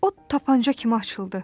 O tapança kimi açıldı.